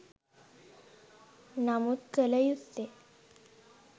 නමුත් කළ යුත්තේ